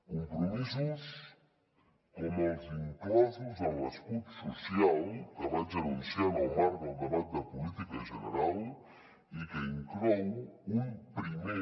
compromisos com els inclosos en l’escut social que vaig anunciar en el marc del debat de política general i que inclou un primer